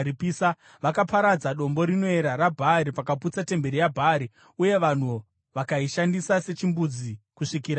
Vakaparadza dombo rinoera raBhaari vakaputsa temberi yaBhaari, uye vanhu vakaishandisa sechimbuzi kusvikira nhasi.